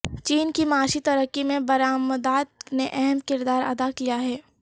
چین کی معاشی ترقی میں برامدات نے اہم کردار ادا کیا ہے